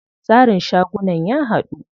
Tsarin shagunan ya haɗu.